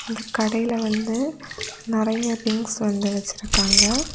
இந்த கடையில வந்து நெறைய திங்ஸ் வந்து வச்சிருக்காங்க.